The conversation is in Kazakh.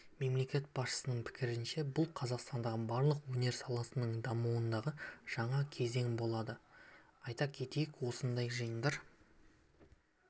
мемлекет басшысының пікірінше бұл қазақстандағы барлық өнер саласының дамуындағы жаңа кезең болады айта кетейік осындай жиындар